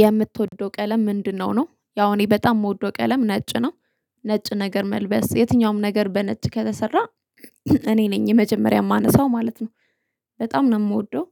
የምትወደው ቀለም ምንድነው? ነው ያው እኔ በጣም የምወደው ቀለም ነጭ ነው። ነጭ ነገር መልበስ የትኛውም ነገር በነጭ ከተሰራ። እኔ ነኝ የመጀመሪያ የማነሳው ማለት ነው። በጣም ነው የምወደው።